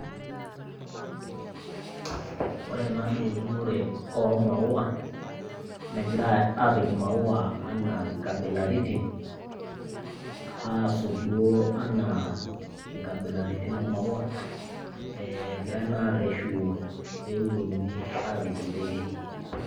Ore ena naa eunore oo maua negira apik imaua anaa inkabilaritin aasot duoo enaa inkabilaritin oo maua egirai naa arreshu pepiki intekei.